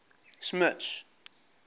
smuts